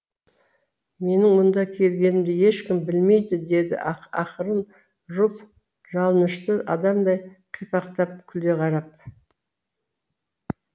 менің мұнда келгенімді ешкім білмейді деді ақырын руфь жалынышты адамдай қипақтап күле қарап